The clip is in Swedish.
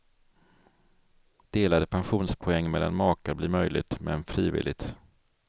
Delade pensionspoäng mellan makar blir möjligt, men frivilligt.